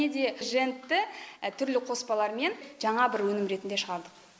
және де жентті түрлі қоспалармен жаңа бір өнім ретінде шығардық